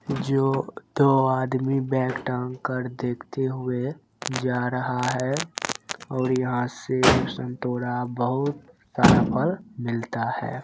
जो तो दो आदमी बेथल है देखते हुवे जा रहा हैऔर यहाँ से सेव संतरा बहोत सारा फल मिलता है।